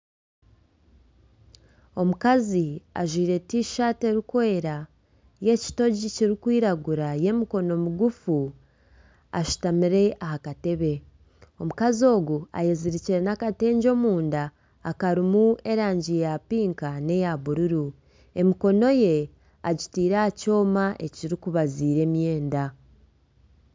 Omukazi ajwaire tishati erikwera y'ekitogi kirikwiragura y'emikono migufu ashutamire aha katebe omukazi ogu ayezirikire n'akatengye omunda akarimu erangi ya pinka neya bururu emikono ye egitaire aha kyoma ekirikubaziira emyenda.